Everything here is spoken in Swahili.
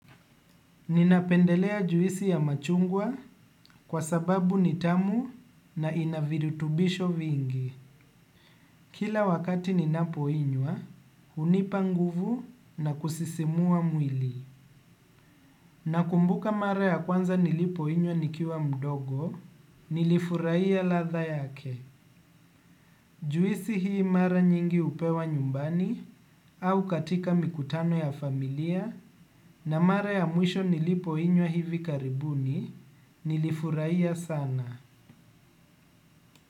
Ninapendelea juisi ya machungwa kwa sababu ni tamu na ina virutubisho vingi. Kila wakati ninapoinywa, hunipa nguvu na kusisimua mwili. Nakumbuka mara ya kwanza nilipoinywa nikiwa mdogo, nilifurahia ladha yake. Juisi hii mara nyingi hupewa nyumbani au katika mikutano ya familia na mara ya mwisho nilipoinywa hivi karibuni nilifurahia sana.